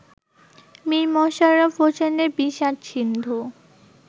মীর মশাররফ হোসেনের বিষাদ-সিন্ধু